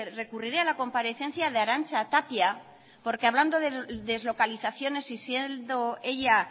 recurriré a la comparecencia de arantza tapia porque hablando de deslocalizaciones y siendo ella